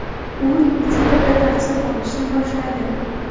U repetitorda tahsil olishni boshladi.